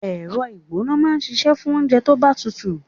Ẹ̀rọ ìgbóná máa ń ṣíṣe fún oúnjẹ tó bá tutù.